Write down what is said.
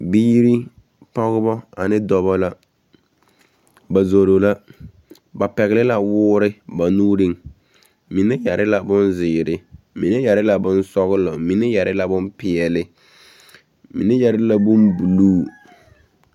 Biiri, pɔgebɔ ane dɔbɔ la. Ba zoro la. Ba pɛgele la woore ba nuuriŋ. Mine yɛre la bonzeere, mine yɛre la bonsɔgelɔ, mine yɛre la peɛle, mine yɛre la bombuluu.